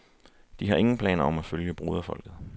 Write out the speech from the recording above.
De har ingen planer om at følge broderfolket.